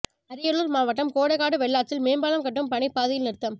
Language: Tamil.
அரியலூர் மாவட்டம் கோட்டைக்காடு வெள்ளாற்றில் மேம்பாலம் கட்டும் பணி பாதியில் நிறுத்தம்